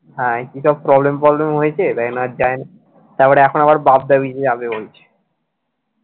হ্যাঁ কিসব problem ফবলেম হয়েছে তাই জন্য আর যায়নি তারপরে এখন আবার বাগদা beach যাবে বলছে